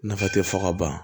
Nafa tɛ fɔ ka ban